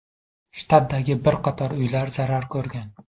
Shtatdagi bir qator uylar zarar ko‘rgan.